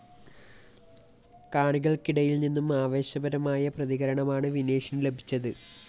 കാണികൾക്കിടയിൽ നിന്നും ആവേശപരമായ പ്രതികരണമാണ് വിനേഷിന് ലഭിച്ചത്